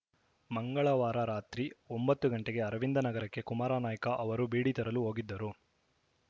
ಮಂಗಳವಾರ ರಾತ್ರಿ ಒಂಬತ್ತು ಗಂಟೆಗೆ ಅರವಿಂದನಗರಕ್ಕೆ ಕುಮಾರನಾಯ್ಕ ಅವರು ಬೀಡಿ ತರಲು ಹೋಗಿದ್ದರು